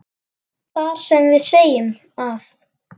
þar sem við segjum að